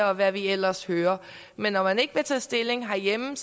og hvad vi ellers hører men når man ikke vil tage stilling herhjemme